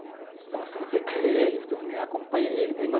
Então, se você quer ele, você acompanha ele.